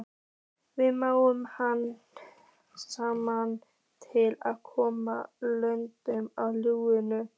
Við máluðum hana saman til að koma sökinni á Lúnu.